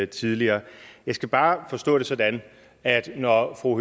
tidligere jeg skal bare forstå det sådan at når fru